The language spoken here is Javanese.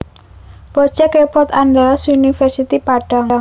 Project report Andalas University Padang